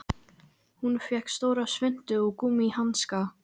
Hún fékk stóra svuntu og gúmmíhanska.